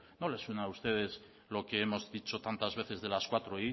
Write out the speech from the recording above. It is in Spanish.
no le suena a ustedes lo que hemos dicho tantas veces de las cuatro